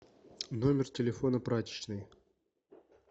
номер телефона прачечной